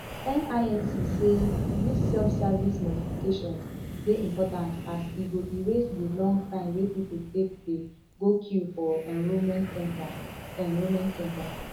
nimc say dis selfservice modifications dey important as e go erase di long time wey pipo take dey go queue for enrolment centre enrolment centre